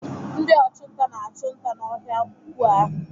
Ndị ọchụnta na-achụ nta n'ọhịa ukwuu ahụ.